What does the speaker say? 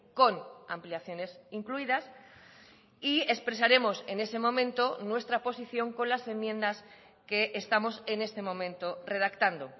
con ampliaciones incluidas y expresaremos en ese momento nuestra posición con las enmiendas que estamos en este momento redactando